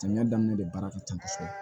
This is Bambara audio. Samiya daminɛ de baara ka ca kosɛbɛ